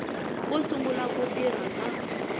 ko sungula ku tirha ka